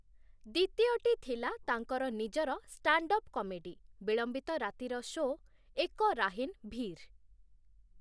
ଦ୍ୱିତୀୟଟି ଥିଲା ତାଙ୍କର ନିଜର ଷ୍ଟାଣ୍ଡ୍‌ଅପ୍ କମେଡି, ବିଳମ୍ବିତ ରାତିର ଶୋ 'ଏକ ରାହିନ୍ ଭିର୍' ।